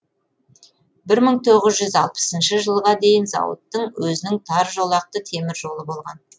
бір мың тоғыз жүз алпысыншы жылға дейін зауыттың өзінің таржолақты темір жолы болған